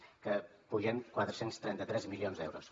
que pugen a quatre cents i trenta tres milions d’euros